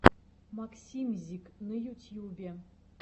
максимьзик на ютьюбе